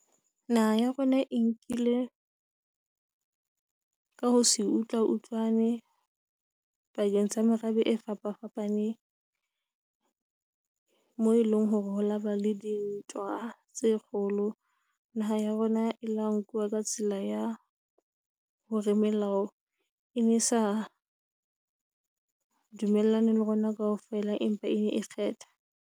Naha ya rona e nkile ka ho se utlwa utlwane pakeng tsa merabe e fapafapaneng mo eleng hore ho laba le dintwa tse kgolo, naha ya rona e la nkuwa ka tsela ya hore melao e ne e sa dumellane le rona kaofela empa e kgetha.